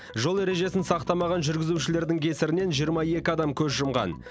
жол ережесін сақтамаған жүргізушілердің кесірінен жиырма екі адам көз жұмған